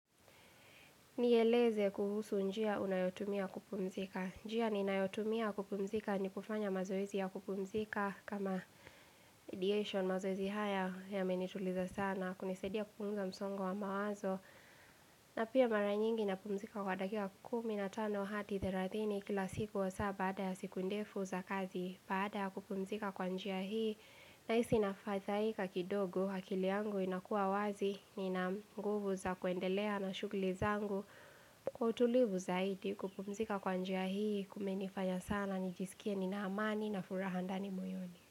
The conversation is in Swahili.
Nieleze kuhusu njia unayotumia kupumzika. Njia ninayotumia kupumzika ni kufanya mazoezi ya kupumzika kama ideation mazoezi haya yamenituliza sana. Kunisaidia kupungza msongo wa mawazo. Na pia mara nyingi napumzika kwa dakika kumi na tano hadi therathini kila siku hasaa baada ya siku ndefu za kazi baada ya kupumzika kwa njia hii Nahisi nafadhaika kidogo akili yangu inakuwa wazi Nina nguvu za kuendelea na shugli zangu Kwa utulivu zaidi kupumzika kwa njia hii kumenifanya sana nijisikie nina amani na furaha ndani moyoni.